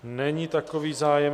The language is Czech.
Není takový zájem.